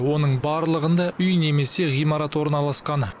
оның барлығында үй немесе ғимарат орналасқан